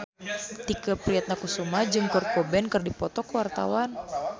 Tike Priatnakusuma jeung Kurt Cobain keur dipoto ku wartawan